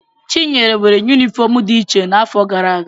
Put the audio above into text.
Chinyere nwere yunifọọm dị iche n'afọ gara aga.